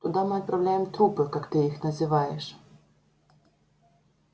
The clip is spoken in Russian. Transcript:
туда мы отправляем трупы как ты их называешь